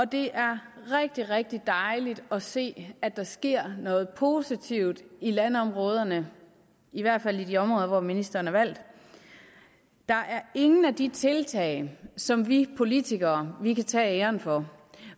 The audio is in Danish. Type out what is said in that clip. det er rigtig rigtig dejligt at se at der sker noget positivt i landområderne i hvert fald i de områder hvor ministeren er valgt der er ingen af de tiltag som vi politikere kan tage æren for